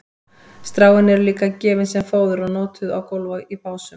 stráin eru líka gefin sem fóður og notuð á gólf í básum